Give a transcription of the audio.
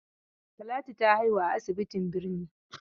Talatu ta haihu a asibitin birni.